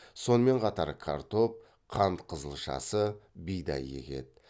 сонымен қатар картоп қант қызылшасы бидай егеді